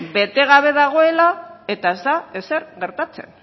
bete gabe dagoela eta ez da ezer gertatzen